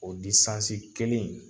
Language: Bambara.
O kelen in.